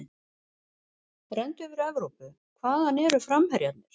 Renndu yfir Evrópu, hvaðan eru framherjarnir?